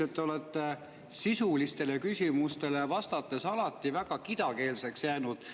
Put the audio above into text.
Üldiselt olete sisulistele küsimustele vastates alati väga kidakeelseks jäänud.